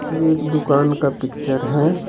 यह एक दुकान का पिक्चर है।